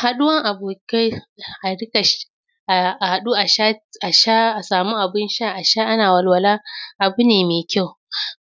Haɗuwan abokai a duka sh; a; a haɗu a sha t; a sha; a sha, a samu abun sha a sha ana walwala, abu ne me kyau.